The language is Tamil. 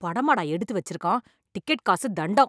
படமாடா எடுத்து வச்சிருக்கான், டிக்கெட் காசு தண்டம்.